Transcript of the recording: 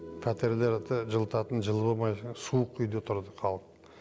пәтерлерді жылытатын жылу болмай суық үйде тұрды халық